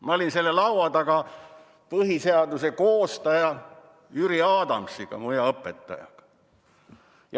Ma olin selle laua taga koos põhiseaduse koostaja Jüri Adamsiga, mu hea õpetajaga.